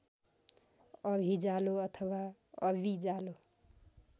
अभिजालो अथवा अबिजालो